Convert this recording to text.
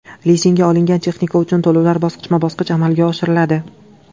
Lizingga olingan texnika uchun to‘lovlar bosqichma-bosqich amalga oshiriladi.